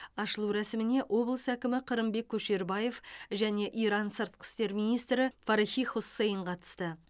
ашылу рәсіміне облыс әкімі қырымбек көшербаев және иран сыртқы істер министрі фарахи хоссейн қатысты